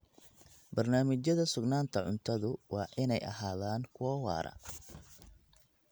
Barnaamijyada sugnaanta cuntadu waa inay ahaadaan kuwo waara.